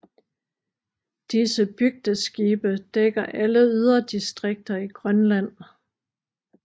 Disse bygdeskibe dækker alle yderdistrikter i Grønland